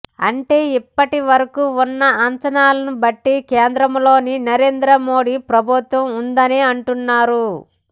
అంటే ఇప్పటి వరకు ఉన్న అంచనాలను బట్టి కేంద్రంలోని నరేంద్ర మోడీ ప్రభుత్వం ఉందనే అంటున్నారు